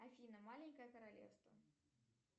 афина маленькое королевство